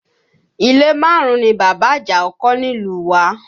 Ilé márùn-ún ni bàbá Àjàó kọ́ nílùú wá